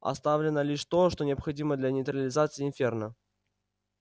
оставлено лишь то что необходимо для нейтрализации инферно